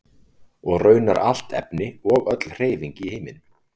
Og raunar allt efni og öll hreyfing í heiminum.